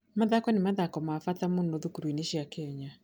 Mathako nĩ mathako ma bata mũno thukuru-inĩ cia Kenya.